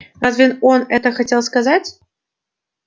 разве он это хотел сказать